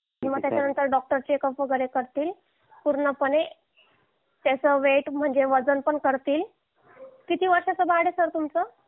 किंवा त्याच्यानंतर doctor checkup वगैरे करतील पूर्णपणे त्याचं वेट म्हणजे वजन पण करतील किती वर्षाचे बाळ आहे सर तुमचं